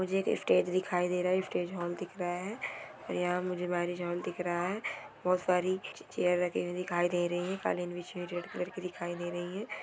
मुझे एक स्टेज दिखाई दे रहा है एक स्टेज हाल दिख रहा है| यहां मुझे मैरिज हॉल दिख रहा है बहुत सारी चेयर रखी हुई दिखाई दे रही है कालीन बिछी हुई रेड कलर की दिखाई दे रही है।